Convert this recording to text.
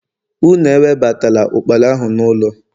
unu ewebatala ukpala ahu n'ulo!